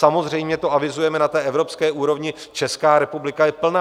Samozřejmě to avizujeme na té evropské úrovni, Česká republika je plná.